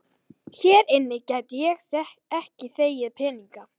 Hér inni gæti ég ekki þegið peninga.